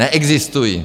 Neexistují.